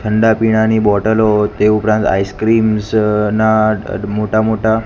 ઠંડા પીણા ની બોટલો તે ઉપરાંત આઈસ્ક્રીમ્સ ના મોટા મોટા--